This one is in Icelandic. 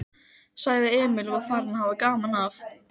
sagði Emil og var farinn að hafa gaman af.